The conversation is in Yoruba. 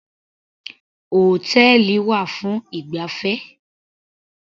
Hòtẹ́ẹ̀lì wà fún ìgbafẹ́.